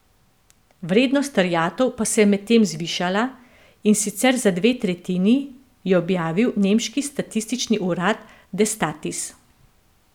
Vrednost terjatev pa se je medtem zvišala, in sicer za dve tretjini, je objavil nemški statistični urad Destatis.